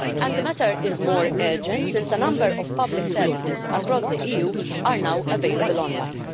The matter is more urgent since a number of public services across the EU are now available online.